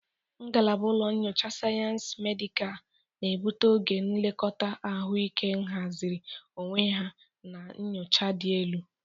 Ngalaba ụlọ nyocha Sayensị Medikal na-ebute oge nlekọta ahụike ahaziri onwe ya na nyocha dị elu.